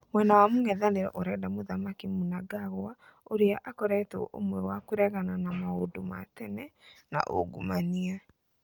Mwena mwa mũngetherano ũrenda mũthamaki Mnangagwa, ũria akoretwe ũmwe wa kũregana na "maũndũ ma tene na uungumania"